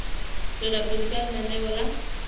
tswela pele ka lenaneo la